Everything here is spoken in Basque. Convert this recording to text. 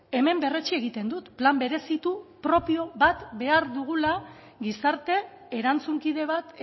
hemen berretsi egiten dut plan berezitu propio bat behar dugula gizarte erantzunkide bat